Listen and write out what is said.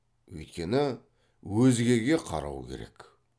өйткені өзгеге қарау керек